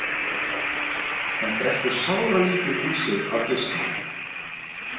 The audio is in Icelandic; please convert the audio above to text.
Hann drekkur sáralítið í sig af geislun.